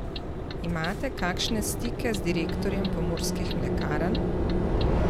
Imate kakšne stike z direktorjem Pomurskih mlekarn?